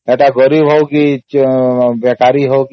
ସେ ଗରିବ ହଉ କି ବେକାର